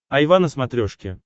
айва на смотрешке